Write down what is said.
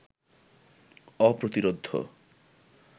অপ্রতিরোধ্য